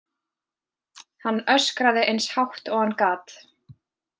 Hann öskraði eins hátt og hann gat.